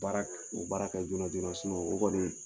Baara o baara kɛ joona joona o kɔni